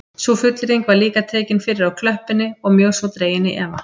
Sú fullyrðing var líka tekin fyrir á klöppinni og mjög svo dregin í efa